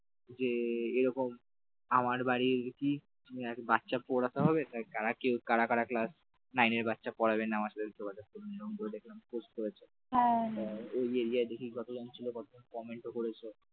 যে এরকম আমার বাড়ি গেছি এক বাচ্চা পড়াতে হবে কারা কেউ কারা কারা class nine র বাচ্চা পড়াবে আমার সাথে যোগাযোগ করুন বলে post করেছে ইয়া দেখে কতজন comment করেছে